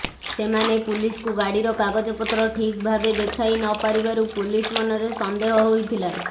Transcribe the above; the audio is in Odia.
ସେମାନେ ପୁଲିସକୁ ଗାଡ଼ିର କାଗଜପତ୍ର ଠିକ୍ ଭାବେ ଦେଖାଇ ନ ପାରିବାରୁ ପୁଲିସ ମନରେ ସନ୍ଦେହ ହୋଇଥିଲା